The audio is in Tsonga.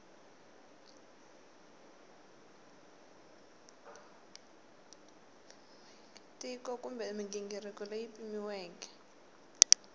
tiko kumbe mighingiriko leyi pimiweke